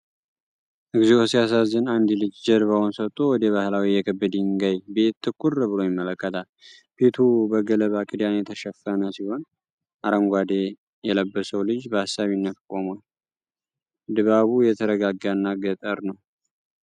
እግዚኦ ሲያሳዝን! አንድ ልጅ ጀርባውን ሰጥቶ ወደ ባህላዊ የክብ ድንጋይ ቤት ትኩር ብሎ ይመለከታል ። ቤቱ በገለባ ክዳን የተሸፈነ ሲሆን አረንጓዴ የለበሰው ልጅ በአሳቢነት ቆሟል። ድባቡ የተረጋጋና ገጠር ነው።